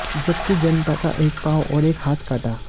जबकि जंटा का एक पांव और एक हाथ काटा